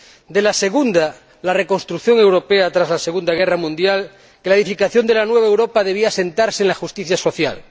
de la segunda, la reconstrucción europea tras la Segunda Guerra Mundial, que la edificación de la nueva Europa debía asentarse sobre la justicia social.